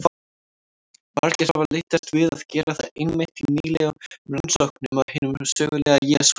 Margir hafa leitast við að gera það einmitt í nýlegum rannsóknum á hinum sögulega Jesú.